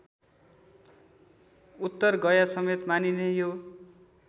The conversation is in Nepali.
उत्तरगयासमेत मानिने यो